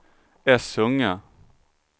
Essunga